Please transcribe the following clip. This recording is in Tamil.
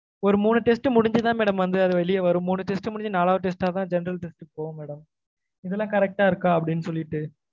ஒரு மூணு test முடிஞ்சு தான் madam வந்து வெளிய வரும் மூணு test முடிஞ்சு நாலாவது test ல தான் general test க்கு போகும் madam. இதுயெல்ல correct ட இருக்கா அப்பிடின்னு சொல்லிட்டு